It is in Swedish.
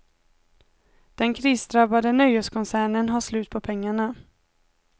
Den krisdrabbade nöjeskoncernen har slut på pengarna.